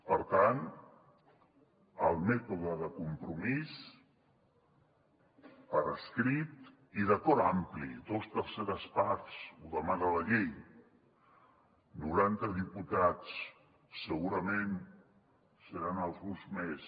per tant el mètode de compromís per escrit i d’acord ampli dos terceres parts ho demana la llei noranta diputats segurament en seran alguns més